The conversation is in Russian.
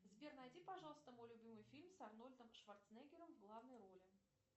сбер найди пожалуйста мой любимый фильм с арнольдом шварценеггером в главной роли